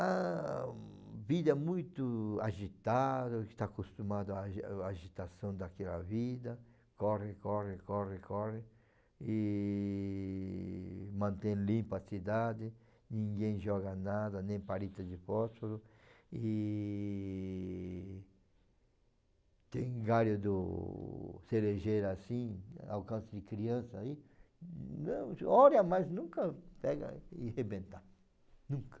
A vida é muito agitada, está acostumado à à agitação daquela vida, corre, corre, corre, corre, e mantém limpa a cidade, ninguém joga nada, nem palito de fósforo, e tem galho do cerejeira assim, alcance de criança aí, olha, mas nunca pega e rebenta, nunca.